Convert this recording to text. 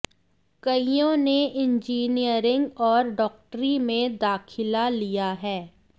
कइयों ने इंजीनियरिंग और डॉक्टरी में दाखिला लिया है